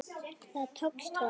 Það tókst honum.